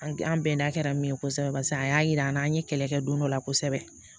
An an bɛnna kɛra min ye kosɛbɛ barisa a y'a yira an na an ye kɛlɛ kɛ don dɔ la kosɛbɛ